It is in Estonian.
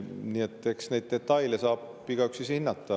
Nii et eks neid detaile saab igaüks ise hinnata.